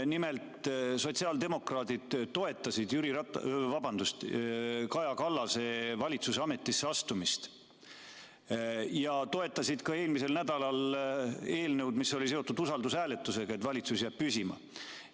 Nimelt, sotsiaaldemokraadid toetasid Kaja Kallase valitsuse ametisse astumist ja nad toetasid ka eelmisel nädalal eelnõu, mis oli seotud usaldushääletusega, et valitsus jääb püsima.